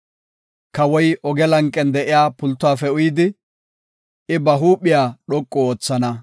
Kawoy oge lanqen de7iya pultuwafe uyidi, I ba huuphiya dhoqu oothana.